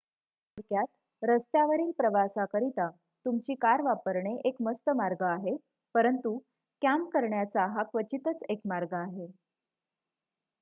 "थोडक्यात रस्त्यावरील प्रवासाकरिता तुमची कार वापरणे एक मस्त मार्ग आहे परंतु "कँप" करण्याचा हा क्वचितच एक मार्ग आहे.